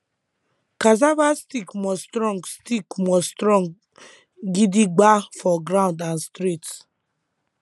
cassava stick must strong stick must strong gidigba for ground and straight